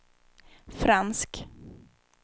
fransk